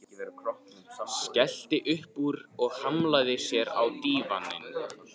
Skellti upp úr og hlammaði sér á dívaninn.